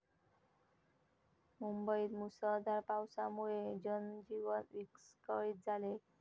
मुंबईत मुसळधार पावसामुळे जनजीवन विस्कळीत झाले.